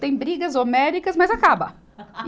Tem brigas homéricas, mas acaba.